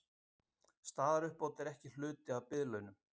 Staðaruppbót ekki hluti af biðlaunum